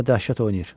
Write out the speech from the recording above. Hə, dəhşət oynayır.